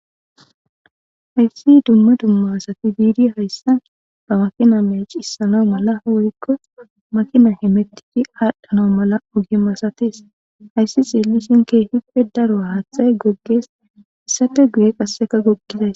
hayssi dumma dumma asati biidi hayssa bawafiname cissana mala woykko makina he mettidi aadhdhana mala ogim asatis hayssi xeellisin keehippe daro haathay goggees issafe guye qasseka gogizas